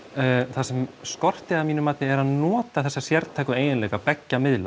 það sem skorti að mínu mati er að nota þessa sértæku eiginleika beggja miðla